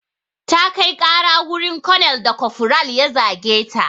Ta kai ƙara wurin konel da kofural ya zage ta.